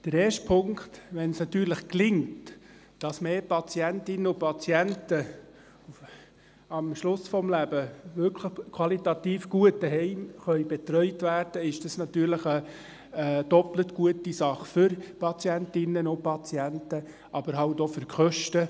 Der erste Punkt: Wenn es gelingen sollte, dass mehr Patientinnen und Patienten am Lebensende tatsächlich qualitativ gut zu Hause betreut werden können, ist dies eine doppelt so gute Sache – für die Patientinnen und Patienten, aber eben auch für die Kosten.